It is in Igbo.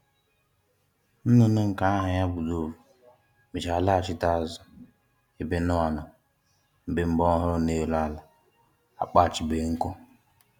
Nnụnụ nke aha ya bụ dovu mechara laghachite azụ ebe Noah nọ mgbe mgbe ọhụrụ na elu ala a kpọchabeghi nkụ.